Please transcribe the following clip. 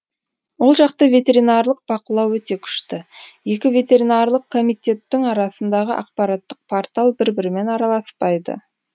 ол жақта ветеринарлық бақылау өте күшті екі ветеринарлық комитеттің арасындағы ақпараттық портал бір бірімен араласпайды